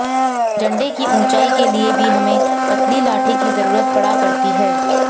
झंडे की ऊंचाई के लिए भी हमें पतली लाठी की जरूरत पड़ा करती है